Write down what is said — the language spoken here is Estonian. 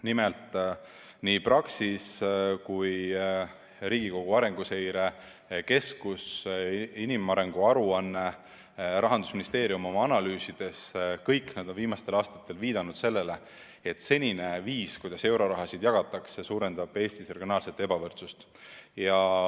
Nimelt, nii Praxis kui ka Riigikogu Arenguseire Keskus, nii inimarengu aruanne kui ka Rahandusministeeriumi analüüsid – kõik need on viimastel aastatel viidanud sellele, et senine eurorahade jagamise viis suurendab Eestis regionaalset ebavõrdsust.